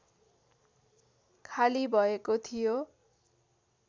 खाली भएको थियो